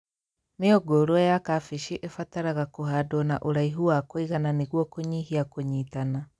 Mĩũngũrwa ya kambĩji ĩbataraga kũhandwo na ũraihu wa kũigana nĩguo kũnyihia kũnyitana